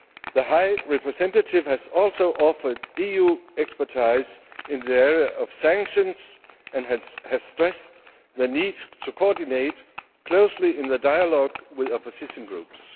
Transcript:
The High Representative has also offered EU expertise in the area of sanctions and has stressed the need to coordinate closely in the dialogue with opposition groups.